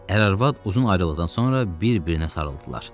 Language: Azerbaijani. Ər-arvad uzun ayrılıqdan sonra bir-birinə sarıldılar.